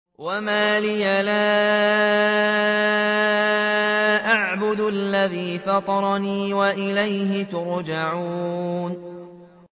وَمَا لِيَ لَا أَعْبُدُ الَّذِي فَطَرَنِي وَإِلَيْهِ تُرْجَعُونَ